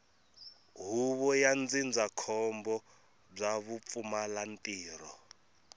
huvo ya ndzindzakhombo bya vupfumalantirho